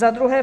Za druhé.